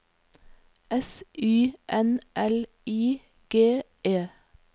S Y N L I G E